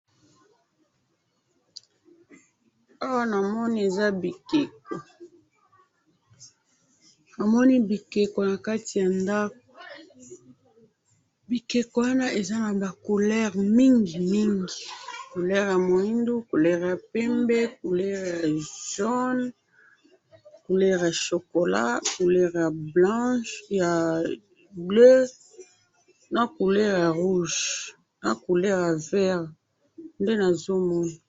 awa namoni eza bikeko namoni bikeko nakati ya ndaku bikeko wana eza naba couleur mingi mingi couleur ya mwindu couleur ya pembe couleur ya jone, couleur ya chocolat ,couleur ya blanche ya bleu na couleur ya rouge na couleur ya vert nde nazomona.